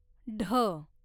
ढ